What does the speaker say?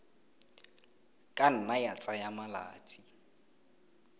ka nna ya tsaya malatsi